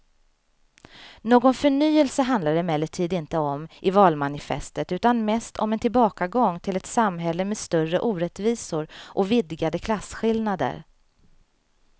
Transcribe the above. Någon förnyelse handlar det emellertid inte om i valmanifestet utan mest om en tillbakagång till ett samhälle med större orättvisor och vidgade klasskillnader.